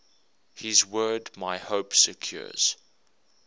his word my hope secures